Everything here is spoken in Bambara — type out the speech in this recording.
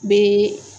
Be